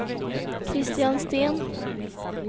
Kristian Sten